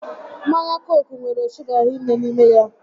Mmanya Cooku nwere shuga hinne n'ime ya